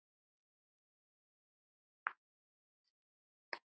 Loks kom nýja bókin.